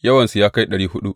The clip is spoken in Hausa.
Yawansu ya kai ɗari huɗu.